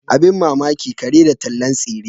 Abin mamaki kare da tallan tsire.